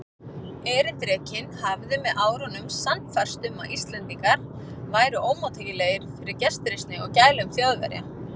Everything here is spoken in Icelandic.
Erindrekinn hafði með árunum sannfærst um, að Íslendingar væru ómóttækilegir fyrir gestrisni og gælum Þjóðverja.